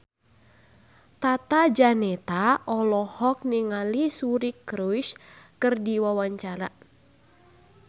Tata Janeta olohok ningali Suri Cruise keur diwawancara